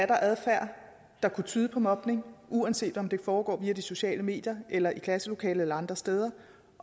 der er adfærd der kunne tyde på mobning og uanset om det foregår via de sociale medier eller i klasselokalet eller andre steder